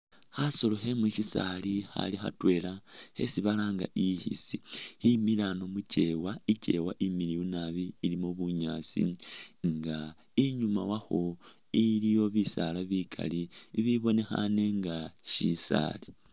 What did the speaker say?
Khasolo khemushisaali khali khatwela khesi balanga ikhisi khimile ano mukyewa ikyewa imiliyu naabi ilimo bunyasi inga inyuma wakho iliyo bisaala bikali bibonekhane inga shisaali.